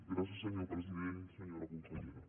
gràcies senyor president senyora consellera